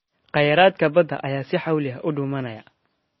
Khayraadka badda ayaa si xawli ah u dhumaanaya.